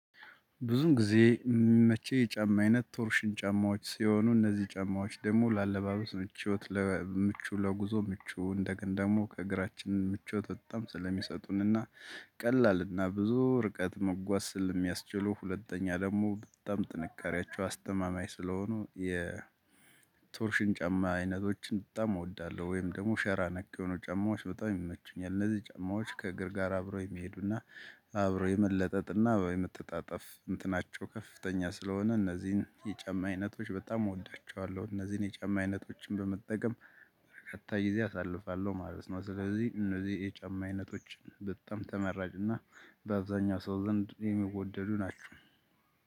ብዙ ጊዜ የሚመቸኝ የጫማ አይነት ቶርሽን ጫማዎች ሲሆኑ እነዚህ ጫማዎች ደግሞ ለአለባበስ ምቾት ለምቹ ለጉዞ ምቹ እንደገና ደግሞ ከእግራችን ምቾት በጣም ስለሚሰጡንና ቀላልና ብዙ ርቀት መጓዝ ስለ ሚያስችሉ ሁለተኛ ደግሞ በጣም ጥንካሬያቸው አስተማማኝ ስለሆኑ የቶርሽን ጫማ አይነቶችን በጣም እወዳለሁ። ወይም ደግሞ ሸራ ነክ የሆኑ ጨማዎች በጣም ይመቹኛል። እነዚህ ጨማዎች ከእግር ጋር አብረው የሚሄዱና አብረው የመለጠጥና የመተጣጠፍ እንትናቸው ከፍተኛ ስለሆነ እነዚህን የጫማ አይነቶች በጣም እወዳቸዋለሁ። እነዚህን የጫማ አይነቶችን በመጠቀም በርካታ ጊዜ አሳልፋለሁ ማለት ነው። ስለዚህ እነዚህ የጫማ አይነቶች በጣም ተመራጭና በአብዛኛው ሰው ዘንድ የሚወደዱ ናቸው።